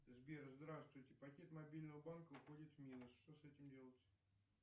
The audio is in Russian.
сбер здравствуйте пакет мобильного банка уходит в минус что с этим делать